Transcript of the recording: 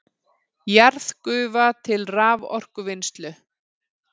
Jarðgufa til raforkuvinnslu